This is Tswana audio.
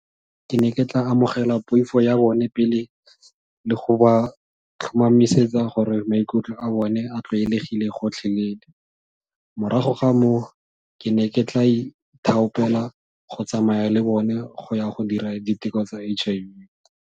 Ke ne ke tla amogela poifo ya bone pele, le go ba tlhomamisetsa gore maikutlo a bone a tlwaelegile gotlhelele, morago ga moo ke ne ke tla go tsamaya le bone go ya go dira diteko tsa H_I_V.